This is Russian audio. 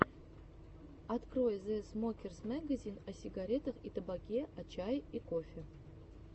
открой зэ смокерс мэгазин о сигарах и табаке о чае и кофе